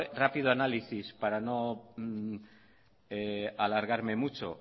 rápido análisis para no alargarme mucho